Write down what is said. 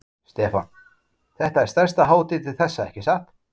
Stefán: Þetta er stærsta hátíðin til þessa, ekki satt?